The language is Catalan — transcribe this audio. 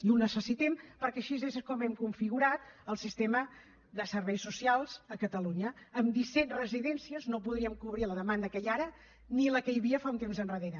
i ho necessitem perquè així és com hem configurat el sistema de serveis socials a catalunya amb disset residències no podríem cobrir la demanda que hi ha ara ni la que hi havia fa un temps endarrere